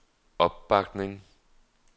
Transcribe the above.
opbakning